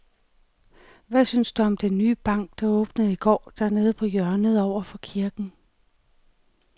Hvad synes du om den nye bank, der åbnede i går dernede på hjørnet over for kirken?